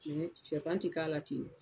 Sɛfan tɛ k'a la ten